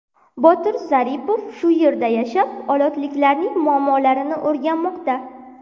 Botir Zaripov shu yerda yashab, olotliklarning muammolarini o‘rganmoqda.